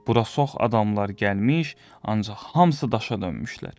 Bura çox adamlar gəlmiş, ancaq hamısı daşa dönmüşlər.